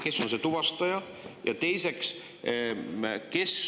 Kes on see tuvastaja?